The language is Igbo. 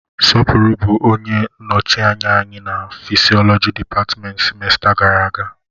Sopuru bụ onye nnọchi anya anyị na fịsiolọji dịpatmenti sịmesta gara aga.